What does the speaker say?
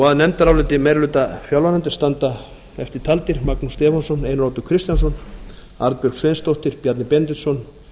að nefndaráliti meiri hluta fjárlaganefndar standir eftirtaldir magnús stefánsson einar oddur kristjánsson arnbjörg sveinsdóttir bjarni benediktsson